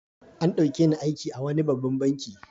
An ɗauke ni aiki a wani babban banki.